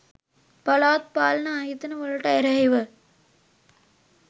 පළාත් පාලන ආයතන වලට එරෙහිව